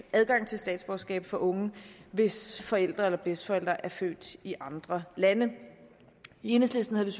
adgang til statsborgerskab for unge hvis forældre eller bedsteforældre er født i andre lande i enhedslisten havde